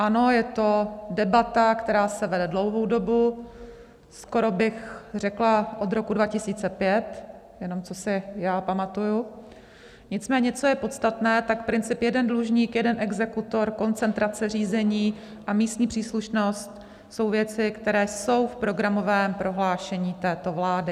Ano, je to debata, která se vede dlouhou dobu, skoro bych řekla od roku 2005, jenom co si já pamatuji, nicméně co je podstatné, tak princip jeden dlužník, jeden exekutor, koncentrace řízení a místní příslušnost jsou věci, které jsou v programovém prohlášení této vlády.